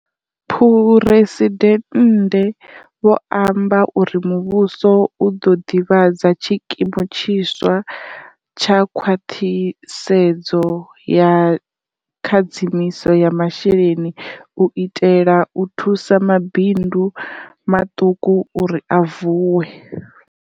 Phresidennde vho amba uri muvhuso u ḓo ḓivhadza tshikimu tshiswa tsha khwaṱhisedzo ya khadzimiso ya masheleni u itela u thusa mabindu maṱuku uri a vuwe.